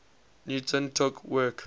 newton took work